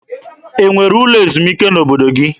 E nwere ụlọ ezumike n'obodo gị?